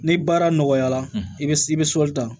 Ni baara nɔgɔyara i bɛ i bɛ sɔli ta